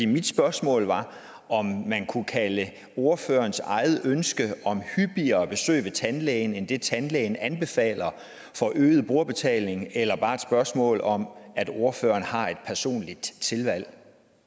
mit spørgsmål var om man kunne kalde ordførerens eget ønske om hyppigere besøg hos tandlægen end det tandlægen anbefaler for øget brugerbetaling eller bare et spørgsmål om at ordføreren har et personligt tilvalg